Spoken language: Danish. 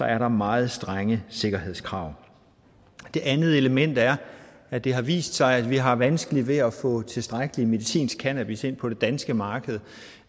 er der meget strenge sikkerhedskrav det andet element er at det har vist sig at vi har vanskeligt ved at få tilstrækkelig medicinsk cannabis ind på det danske marked